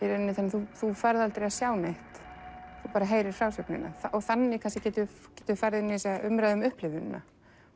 þú þú færð aldrei að sjá neitt þú bara heyrir frásögnina þannig getum við farið inn í umræðuna um upplifunina